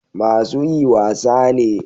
Masu yi wasa ne